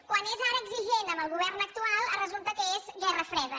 quan és ara exigent amb el govern actual resulta que és guerra freda